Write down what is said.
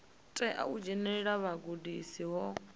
tea u dzhenelela vhugudisi ho